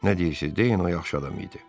Nə deyirsiz, deyin, o yaxşı adam idi.